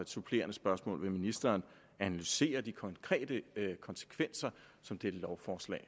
supplerende spørgsmål er vil ministeren analysere de konkrete konsekvenser som dette lovforslag